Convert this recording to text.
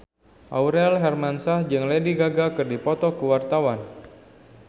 Aurel Hermansyah jeung Lady Gaga keur dipoto ku wartawan